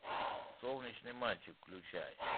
солнечный мальчик включай